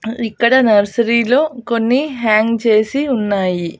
ఇక్కడ నర్సరీలో కొన్ని హ్యాంగ్ చేసి ఉన్నాయి.